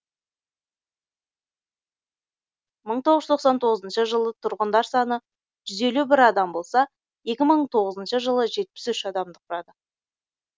мың тоғыз жүз тоқсан тоғызыншы жылы тұрғындар саны жүз елу бір адам болса екі мың тоғызыншы жылы жетпіс үш адамды құрады